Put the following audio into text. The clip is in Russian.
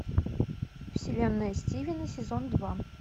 вселенная стивена сезон два